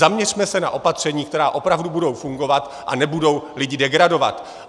Zaměřme se na opatření, která opravdu budou fungovat a nebudou lidi degradovat.